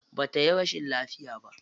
Ba tayi rashin lafiya ba.